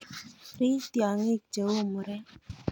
Rich tiong'ik cheu murek.